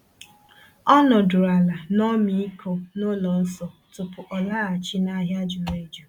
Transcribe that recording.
O nọdụrụ ala n’ọmịiko n'ụlọ nsọ tupu ọ laghachi n’ahịa juru eju.